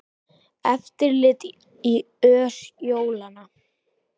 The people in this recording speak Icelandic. Eftirlit í ös jólanna